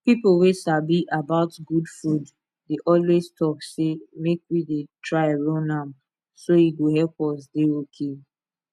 people wey sabi about good food dey always talk say make we dey try run am so e go help us dey okay